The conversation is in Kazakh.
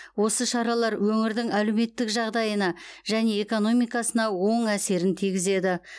осы шаралар өңірдің әлеуметтік жағдайына және экономикасына оң әсерін тигізеді